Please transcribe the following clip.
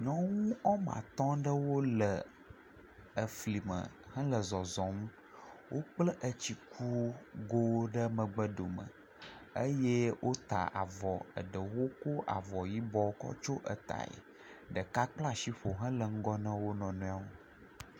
Nyɔnu woame atɔ aɖe le fli me. Wòle zɔzɔm. Wogblɔe etsi kunuwo ɖe megbe dome eye wota avɔ. Eɖe kɔ avɔ yibɔ kɔ tsɔ eyae. Ɖeka kpla si ƒo hele ŋgɔ na wò nɔnɔewo.